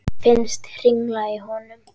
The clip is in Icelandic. Finnst hringla í honum.